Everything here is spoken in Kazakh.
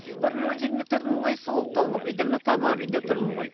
бір өзім үйімде тұрдым ғой суық тонып мына тамар үйінде тұрмын ғой